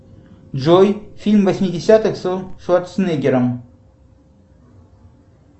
джой фильм восьмидесятых со шварценеггером